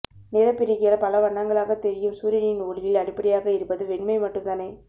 நிறப்பிரிகையால் பல வண்ணங்களாகத் தெரியும் சூரியனின் ஒளியில் அடிப்படையாக இருப்பது வெண்மை மட்டும்தானே